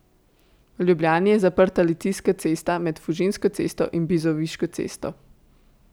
V Ljubljani je zaprta Litijska cesta med Fužinsko cesto in Bizoviško cesto.